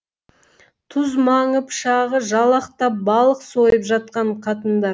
түз маңы пышағы жалақтап балық сойып жатқан қатындар